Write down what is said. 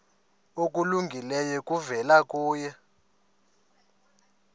okulungileyo kuvela kuye